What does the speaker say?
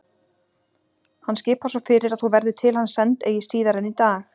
Hann skipar svo fyrir að þú verðir til hans send eigi síðar en í dag.